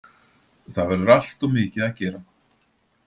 Það verður alltof mikið að gera